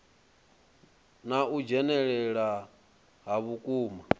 na u dzhenelela ha vhukuma